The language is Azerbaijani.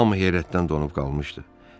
Hamı heyrətdən donub qalmışdı.